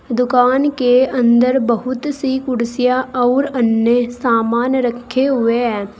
दुकान के अंदर बहुत सी कुर्सियां अउर अन्य सामान रखे हुए है।